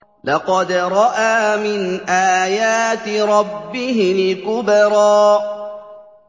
لَقَدْ رَأَىٰ مِنْ آيَاتِ رَبِّهِ الْكُبْرَىٰ